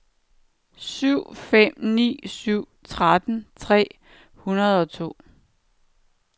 syv fem ni syv tretten tre hundrede og to